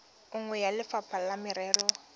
nngwe ya lefapha la merero